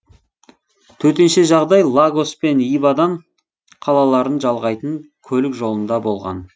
төтенше жағдай лагос пен ибадан қалаларын жалғайтын көлік жолында болған